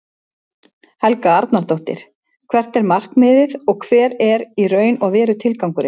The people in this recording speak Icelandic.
Helga Arnardóttir: Hvert er markmiðið og hver er í raun og veru tilgangurinn?